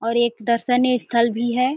और एक दर्शन्य स्थल भी है।